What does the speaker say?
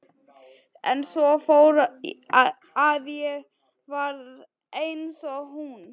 En svo fór að ég varð eins og hún.